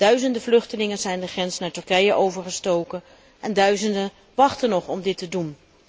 Duizenden vluchtelingen zijn de grens naar Turkije overgestoken en duizenden wachten nog om dit te doen.